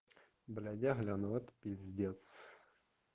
блять я гляну это пиздец